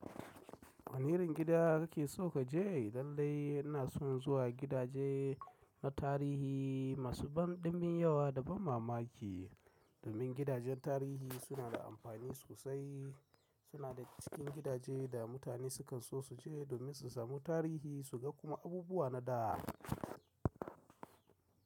Wane irin gida kake so ka je? Lailai ina son zuwa gidaje na tarihi masu banɗimin yawa da ban mamaki, domin gidajen tarihi suna da amfani sosai. Suna da cikin gidajen da mutane sukan so su je domin su samu tarihi, su ga kuma abubuwa na da.